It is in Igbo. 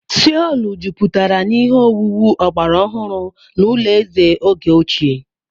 Seolu juputara na ihe owuwu ọgbara ọhụrụ na ụlọ eze oge ochie.